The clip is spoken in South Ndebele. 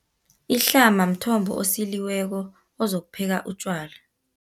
Ihlama mthombo osiliweko, ozokupheka utjwala.